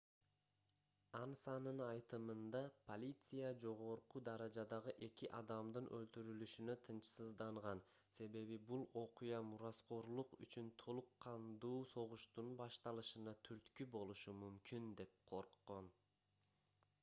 ансанын айтымында полиция жогорку даражадагы эки адамдын өлтүрүлүшүнө тынчсызданган себеби бул окуя мураскорлук үчүн толук кандуу согуштун башталышына түрткү болушу мүмкүн деп корккон